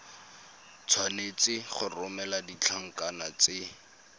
tshwanetse go romela ditlankana tse